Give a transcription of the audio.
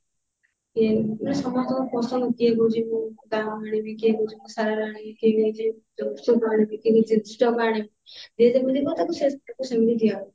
ସମସ୍ତଙ୍କ ପସନ୍ଦ କିଏ କହୁଛି ମୁଁ ତାହା ଆଣିବି କିଏ କହୁଛି ମୁ ସେୟା ଆଣିବି କିଏ କହୁଛି ଯୋଉ ଆଣିବି କିଏ କହୁଛି ଆଣିବି ଯିଏ ଯେମିତି କହୁଛନ୍ତି ତାଙ୍କୁ ସେମିତି ଦିଆହଉଛି